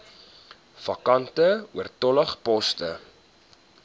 vakante oortollige poste